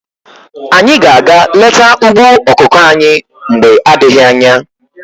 Anyị ga aga leta ugbo ọkụkọ anyị mgbe adịghị anya.